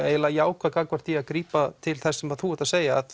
eiginlega jákvæð gagnvart því að grípa til þess sem þú ert að segja að